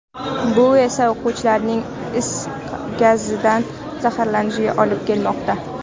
Bu esa o‘quvchilarning is gazidan zaharlanishiga olib kelmoqda.